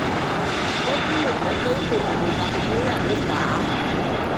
ó tún lè jẹ́ pé kòkòrò bakitéríà ló fà á